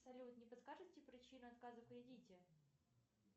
салют не подскажите причину отказа в кредите